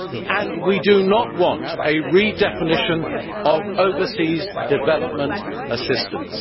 and we do not want a redefinition of overseas development assistance.